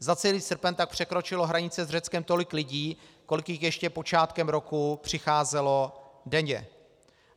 Za celý srpen tak překročilo hranice s Řeckem tolik lidí, kolik jich ještě počátkem roku přicházelo denně.